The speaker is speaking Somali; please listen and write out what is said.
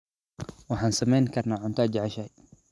Waxaan sameyn karnaa cunto aad jeceshahay.